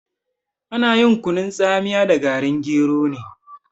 Ana kunun tsamiya da garin gero ne.